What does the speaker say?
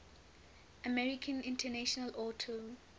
american international auto